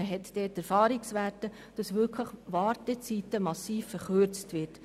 Man hat Erfahrungswerte, dass damit die Wartezeiten massiv verkürzt werden.